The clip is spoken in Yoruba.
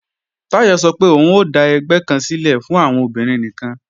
Táyọ̀ sọ pé òun ó dà ẹgbẹ́ kan sílẹ̀ fún àwọn obìnrin nìkan